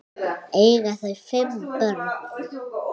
Eiga þau fimm börn.